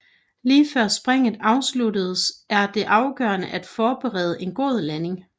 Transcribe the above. Lige før springet afsluttes er det afgørende at forberede en god landing